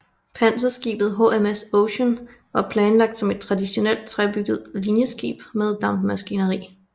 Panserskibet HMS Ocean var planlagt som et traditionelt træbygget linjeskib med dampmaskineri